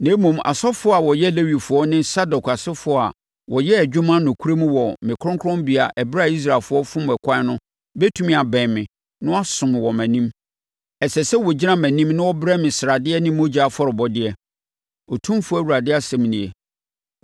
“ ‘Na mmom asɔfoɔ a wɔyɛ Lewifoɔ ne Sadok asefoɔ a wɔyɛɛ adwuma nokorɛm wɔ me kronkronbea ɛberɛ a Israelfoɔ fom ɛkwan no bɛtumi abɛn me na wɔasom wɔ mʼanim; ɛsɛ sɛ wɔgyina mʼanim na wɔbrɛ me sradeɛ ne mogya afɔrebɔdeɛ, Otumfoɔ Awurade asɛm nie.